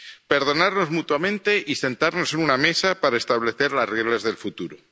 Perdonarnos mutuamente y sentarnos en una mesa para establecer las reglas del futuro.